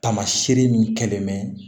Taamaseere min kɛlen mɛ